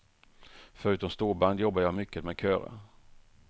Förutom storband jobbar jag mycket med körer.